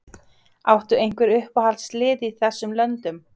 Áttu einhver uppáhaldslið í þessum löndum?